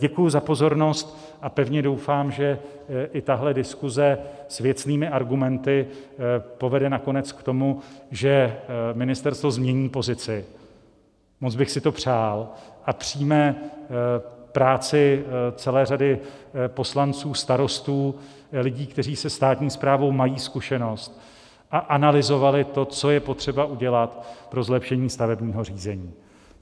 Děkuji za pozornost a pevně doufám, že i tahle diskuze s věcnými argumenty povede nakonec k tomu, že ministerstvo změní pozici - moc bych si to přál - a přijme práci celé řady poslanců, starostů, lidí, kteří se státní správou mají zkušenost a analyzovali to, co je potřeba udělat pro zlepšení stavebního řízení.